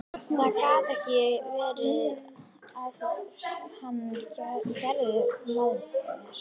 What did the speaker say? Það gat ekki verið að hann gerði mér mein.